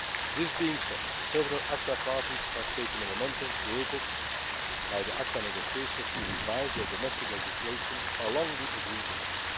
venues. That being said, several ACTA parties have taken the momentum created by the ACTA negotiations to revise their domestic legislation along the agreed